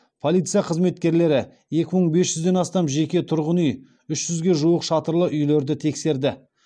полиция қызметкерлері екі мың бес жүзден астам жеке тұрғын үй үш жүзге жуық шатырлы үйлерді тексерді